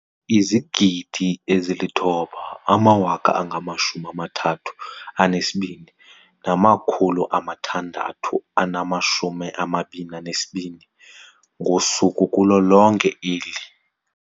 9 032 622 ngosuku kulo lonke eli.